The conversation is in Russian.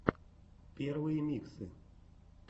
первые миксы